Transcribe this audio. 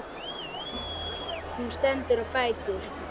Hún stendur á fætur.